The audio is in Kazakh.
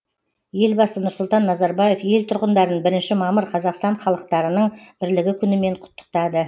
елбасы нұрсұлтан назарбаев ел тұрғындарын бірінші мамыр қазақстан халықтарының бірлігі күнімен құттықтады